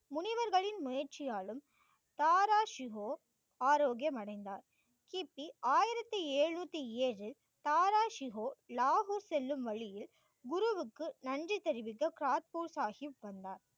முனிவர்களின் முயற்சியாலும தாராசிவோ ஆரோக்கியம் அடைந்தார். கிபி ஆயிரத்தி எழுநூத்தி ஏழு தாராசிகோ லாகு செல்லும் வழியில் குருவுக்கு நன்றி தெரிவிக்க கரத்பூர் சாகிப் வந்தார்.